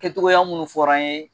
Kɛcogoya minnu fɔra an ye